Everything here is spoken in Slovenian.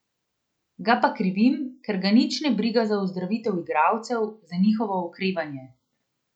Ga pa krivim, ker ga nič ne briga za ozdravitev igralcev, za njihovo okrevanje.